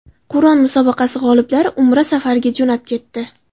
Qur’on musobaqasi g‘oliblari Umra safariga jo‘nab ketdi.